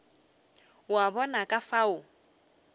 o a bona ka fao